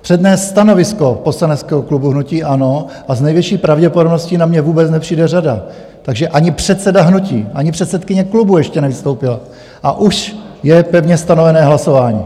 přednést stanovisko poslaneckého klubu hnutí ANO a s největší pravděpodobností na mne vůbec nepřijde řada, takže ani předseda hnutí, ani předsedkyně klubu ještě nevystoupila, a už je pevně stanovené hlasování.